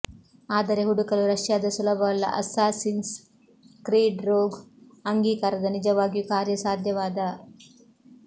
ಆದರೆ ಹುಡುಕಲು ರಷ್ಯಾದ ಸುಲಭವಲ್ಲ ಅಸ್ಸಾಸಿನ್ಸ್ ಕ್ರೀಡ್ ರೋಗ್ ಅಂಗೀಕಾರದ ನಿಜವಾಗಿಯೂ ಕಾರ್ಯಸಾಧ್ಯವಾದ